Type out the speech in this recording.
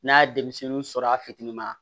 N'a ye denmisɛnninw sɔrɔ a fitinima